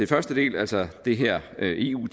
første del altså det her med eu